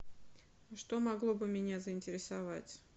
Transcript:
что могло бы меня заинтересовать